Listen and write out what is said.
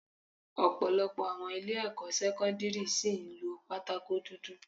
Ọ̀pọ̀lọpọ̀ àwọn ilé ẹ̀kọ́ sẹ́kọ́ńdírì ṣìí ń lo pátákó dúdú.